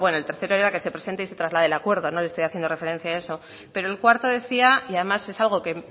bueno el tercero era que se presente y se traslade el acuerdo no les estoy haciendo referencia a eso pero el cuarto decía y además es algo que